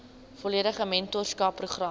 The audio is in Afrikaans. volledige mentorskap program